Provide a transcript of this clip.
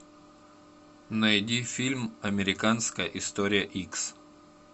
найди фильм американская история икс